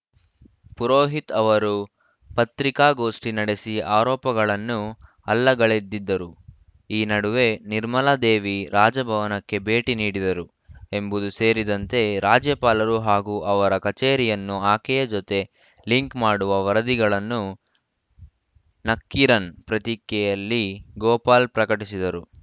ಪುರೋಹಿತ್‌ ಅವರು ಪತ್ರಿಕಾಗೋಷ್ಠಿ ನಡೆಸಿ ಆರೋಪಗಳನ್ನು ಅಲ್ಲಗಳೆದಿದ್ದರು ಈ ನಡುವೆ ನಿರ್ಮಲಾ ದೇವಿ ರಾಜಭವನಕ್ಕೆ ಭೇಟಿ ನೀಡಿದರು ಎಂಬುದು ಸೇರಿದಂತೆ ರಾಜ್ಯಪಾಲರು ಹಾಗೂ ಅವರ ಕಚೇರಿಯನ್ನು ಆಕೆಯ ಜತೆ ಲಿಂಕ್‌ ಮಾಡುವ ವರದಿಗಳನ್ನು ನಕ್ಕೀರನ್‌ ಪ್ರತಿಕೆಯಲ್ಲಿ ಗೋಪಾಲ್‌ ಪ್ರಕಟಿಸಿದ್ದರು